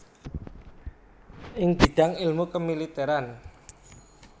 ing bidang ilmu kemiliteran